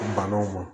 Banaw ma